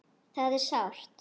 Það er sárt.